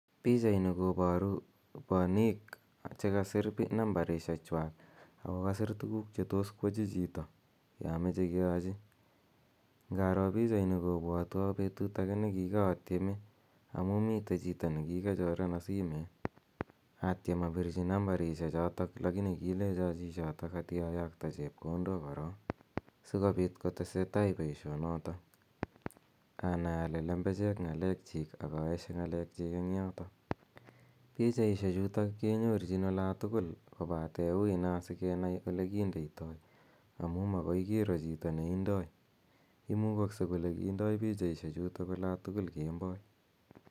Pichaini koparu paniik che kasir nambarishekwak ako kasir tuguuk che tos koyachi chito ya mache keyachi. Inaro pichaini kopwatwa petut agenge ne kikaatieme amu mitei chito ne kikachorena simet atiem apirchi nambarishechotok lakini kilecho chi chotok ati ayakta chepkondok korok si kopiit kotese tai poishonotok anai ale lembechek ng'alekchiik ak aeshe ng'alekchik eng' yotok. Pichaishechutok kenyorchin ola tugul kopate ui naa si kenai ole kindaitoi amu maoki kiro chito neindai, imukakse kole kindai pichaishechutok ola tugul kemboi.